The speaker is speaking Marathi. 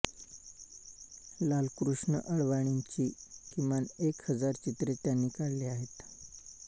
लालकृष्ण अडवाणींची किमान एक हजार चित्रे त्यांनी काढली आहेत